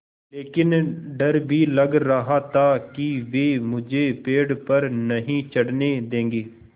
लेकिन डर भी लग रहा था कि वे मुझे पेड़ पर नहीं चढ़ने देंगे